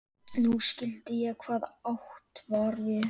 Nú skildi ég hvað átt var við.